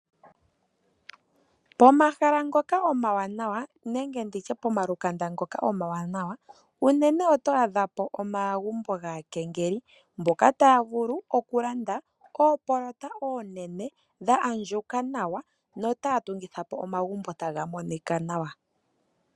Pomahala ngoka omawanawa nenge pomalukanda ngoka omawanawa unene oto adha po omagumbo gaakengeli mboka taya vulu okulanda omahala omanene ga adjuka nawa notaya tungitha po omagumbo taga monika nawa.